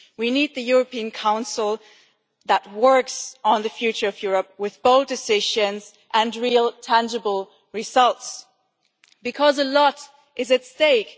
We need a European Council that works on the future of Europe with bold decisions and real tangible results, because a lot is at stake.